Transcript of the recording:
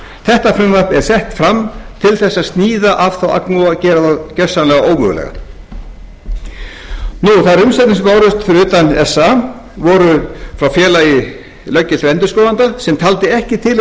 þetta frumvarp er sett fram til að sníða af þá agnúa og gera þá gersamlega ómögulega þær umsagnir sem bárust fyrir utan sa voru frá félagi löggiltra endurskoðanda sem taldi ekki tilefni til